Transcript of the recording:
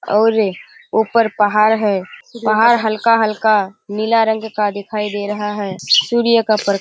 और ऊपर पहाड़ है। पहाड़ हल्का-हल्का नीला रंग का दिखाई दे रहा है। सूर्य का प्र --